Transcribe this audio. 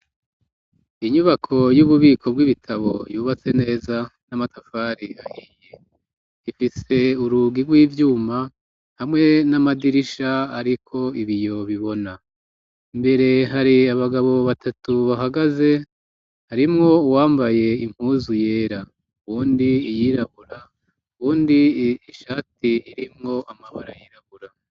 Inyubako y'ububiko bw'ibitabo yubatse neza n'amatafari ahiye ifise urugi rw'ivyuma hamwe n'amadirisha, ariko ibi yo bibona mbere hari abagabo batatu bahagaze harimwo uwambaye impuzu yera wundi ia yirabura wundi ishati irimwo amafara yirabura.